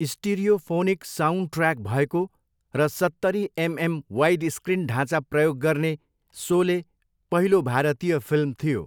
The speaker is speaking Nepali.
स्टिरियोफोनिक साउन्डट्र्याक भएको र सत्तरी एमएम वाइडस्क्रिन ढाँचा प्रयोग गर्ने सोले पहिलो भारतीय फिल्म थियो।